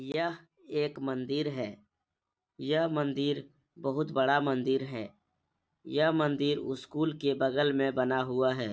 यह एक मंदिर है यह मंदिर बहुत बड़ा मंदिर है यह मंदिर स्कूल के बगल में बना हुआ है |